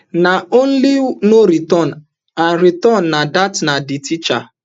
na only no return and return and dat na di teacher